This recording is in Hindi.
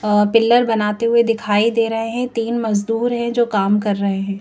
अ पिलर बनाते हुए दिखाई दे रहे हैं तीन मजदूर है जो काम कर रहे हैं ।